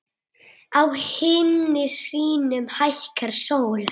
Á himni sínum hækkar sól.